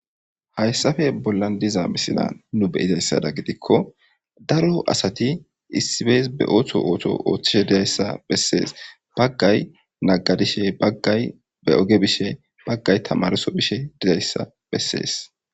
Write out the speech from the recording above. hayssafe bollan diza misila nu beyizayssada gidikko daro asati issibeys be ootho ooto ooththishe dizayssa bessees baggay naggadishe baggay be oge bishe baggay tamarso bishe dizayssa bessees